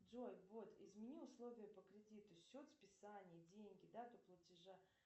джой вот измени условия по кредиту счет списания деньги дату платежа